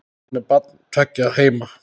Hann er barn tveggja heima.